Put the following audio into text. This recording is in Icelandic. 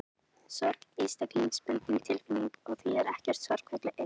Sorg er einstaklingsbundin tilfinning og því er ekkert sorgarferli eins.